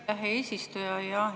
Aitäh, hea eesistuja!